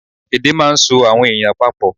Èdè máà ń so àwọn èèyàn pa pọ̀